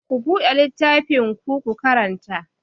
Ku buɗe littafinku, ku karanta!